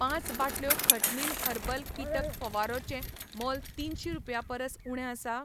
पांच बाटल्यो खटनील हर्बल कीटक फवारो चें मोल तिनशीं रुपयां परस उणें आसा?